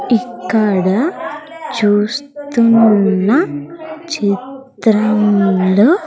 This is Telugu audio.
ఇక్కడ చూస్తున్న చిత్రంలో.